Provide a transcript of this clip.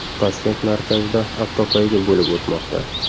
Toshkent markazida avtopoyga bo‘lib o‘tmoqda.